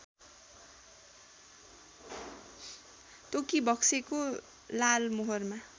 तोकिबक्सेको लालमोहरमा